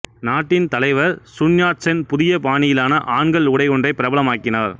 நாட்டின் தலைவர் சுன்யாட்சென் புதிய பாணியிலான ஆண்கள் உடையொன்றைப் பிரபலம் ஆக்கினார்